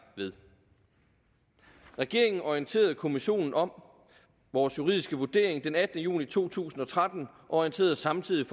ved regeringen orienterede kommissionen om vores juridiske vurdering den attende juni to tusind og tretten og orienterede samtidig